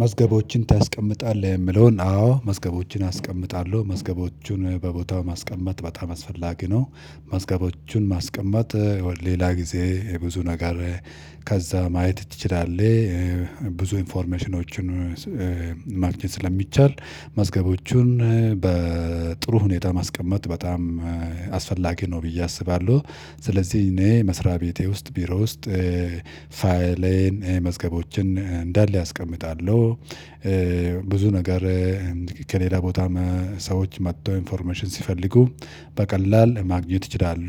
መዝገቦችን ታስቀምጣለህ የምለውን አዎ መዝገቦችን አስቀምጣለሁ መዝገቦቹን በቦታው ማስቀመጥ በጣም አስፈላጊ ነው። መዝገቦቹን ማስቀመጥ ሌላ ጊዜ ብዙ ነገር ከዛ ማየት ትችላለህ። ብዙ ኢንፎርሜሽኖችን ማግኘት ስለሚቻል መዝገቦቹን በጥሩ ሁኔታ ማስቀመጥ በጣም አስፈላጊ ነው ብዬ አስባለሁ። ስለዚህ እኔ መስሪያ ቤቴ ውስጥ ቢሮ ውስጥ ፋይሌን መዝገቦችን እንዳለ አስቀምጣለሁ። ብዙ ነገር ከሌላ ቦታ ሰዎች መጥተው ኢንፎርሜሽን ሲፈልጉ በቀላል ማግኘት ይችላሉ።